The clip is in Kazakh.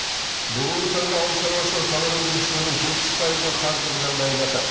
бүгінгі таңда ауыл шаруашылығы тауар өндірушілердің жетпіс пайызының қаржылық жағдайы нашар